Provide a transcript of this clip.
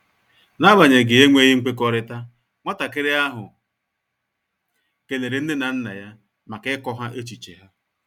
N’agbanyeghị enweghị nkwekọrịta, nwatakịrị ahụ kelere nne na nna ya maka ịkọ ha echiche ha.